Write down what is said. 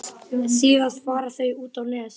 Síðast fara þau út á Nes.